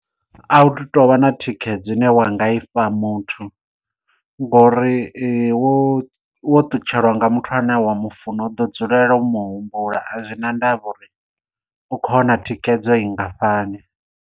A hu tovha na thikhedzo ine wa nga ifha muthu ngo uri wo wo ṱutshelwa nga muthu ane wa mufuna u ḓo dzulela u mu humbula a zwi na ndavha uri u khou wana thikhedzo i ngafhani.